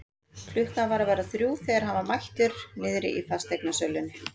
Klukkan var að verða þrjú þegar hann var mættur niðri í fasteignasölunni.